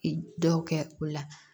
Dɔw kɛ o la